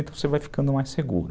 Então você vai ficando mais seguro.